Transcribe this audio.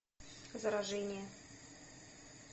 заражение